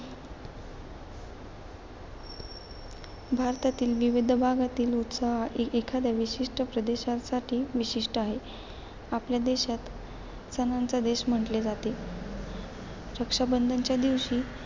भारतातील विविध भागातील उत्साह एखाद्या विशिष्ट प्रदेशासाठी विशिष्ट आहे. आपल्या देशात सणांचा देश म्हटले जाते. रक्षाबंधनच्या दिवशी,